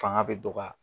Fanga bɛ dɔgɔya